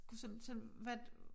Kunne sådan sådan hvad